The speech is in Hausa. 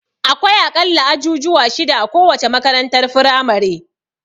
Akwai a ƙalla ajujuwa shida a kowace makarantar firamare.